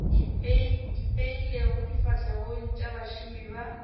ipeilego difahlegong tša bašomi ba